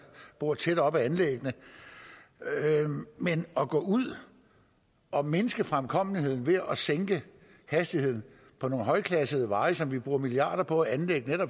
bor tæt op ad anlæggene men at gå ud og mindske fremkommeligheden ved at sænke hastigheden på nogle højt klassificerede veje som vi bruger milliarder på at anlægge